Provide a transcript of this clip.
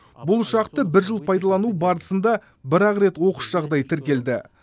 бұл ұшақты бір жыл пайдалану барысында бір ақ рет оқыс жағдай тіркелді